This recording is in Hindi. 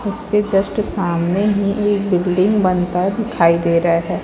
उसके जस्ट सामने ही एक बिल्डिंग बनता दिखाई दे रहा है।